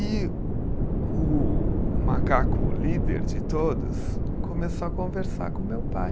E o macaco líder de todos começou a conversar com o meu pai.